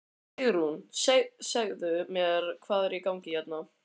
Sigrún segðu mér hvað er í gangi hérna?